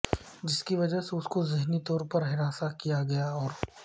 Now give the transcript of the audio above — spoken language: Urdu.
جس کی وجہ اسکو ذہنی طور پر ہراساں کیا گیا اور